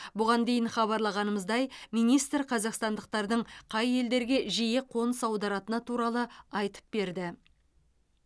бұған дейін хабарлағанымыздай министр қазақстандықтардың қай елдерге жиі қоныс аударатыны туралы айтып берді